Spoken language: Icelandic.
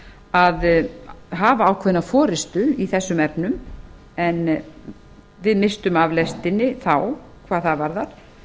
að hafa ákveðna forustu í þessum efnum en við misstum af lestinni þá hvað það varðar